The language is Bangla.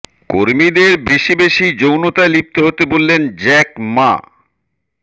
কর্মীদের বেশি বেশি যৌনতায় লিপ্ত হতে বললেন জ্যাক মা